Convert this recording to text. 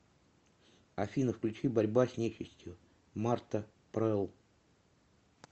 афина включи борьба с нечистью марта прелл